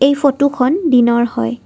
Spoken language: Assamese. এই ফটো খন দিনৰ হয়।